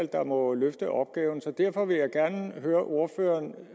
der må løfte opgaven så derfor vil jeg gerne høre ordføreren